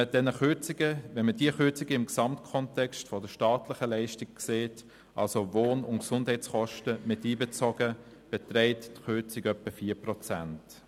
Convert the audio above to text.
Wenn man diese Kürzungen im Gesamtkontext der staatlichen Leistungen sieht, also Wohn- und Gesundheitskosten miteinbezogen, beträgt die Kürzung etwa 4 Prozent.